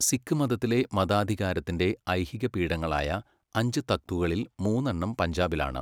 സിഖ് മതത്തിലെ മതാധികാരത്തിന്റെ ഐഹിക പീഠങ്ങളായ അഞ്ച് തക്തുകളിൽ മൂന്നെണ്ണം പഞ്ചാബിലാണ്.